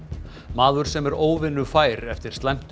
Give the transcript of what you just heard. maður sem er óvinnufær eftir slæmt